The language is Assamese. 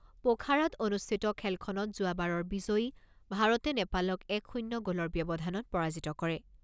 প'খাৰাত অনুষ্ঠিত খেলখনত যোৱাবাৰৰ বিজয়ী ভাৰতে নেপালক এক শূণ্য গ'লৰ ব্যৱধানত পৰাজিত কৰে।